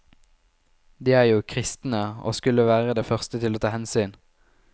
De er jo kristne, og skulle være de første til å ta hensyn.